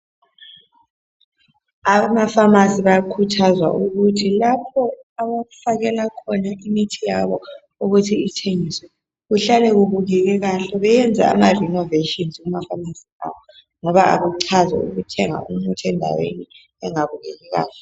Abemafamasi bayakhuthazwa ukuthi lapho abafakela khona imithi yabo bulutho ithengiswe kuhlale kubukeke kahle benze amarenoveshini ngoba akuchazi ukuthenga umuthi endaweni engabukeki kahle